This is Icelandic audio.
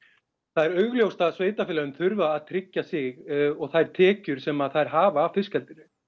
það er augljóst að sveitarfélögin þurfa að tryggja sig og þær tekjur sem þær hafa af fiskeldinu